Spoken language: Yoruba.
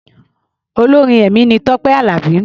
Olórin ẹ̀mí ni Tọ́pé Àlàbí.